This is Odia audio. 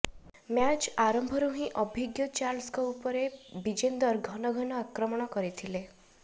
ମ୍ୟାଚ୍ ଆରମ୍ଭରୁ ହିଁ ଅଭିଜ୍ଞ ଚାର୍ଲ୍ସଙ୍କ ଉପରେ ବିଜେନ୍ଦର ଘନଘନ ଆକ୍ରମଣ କରିଥିଲେ